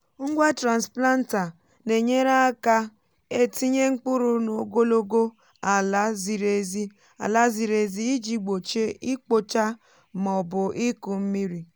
ngwa transplanter nà enyere aka etinye mkpụrụ n’ogologo ala ziri ezi ala ziri ezi iji gbochie ikpocha ma ọ bụ iku mmiri.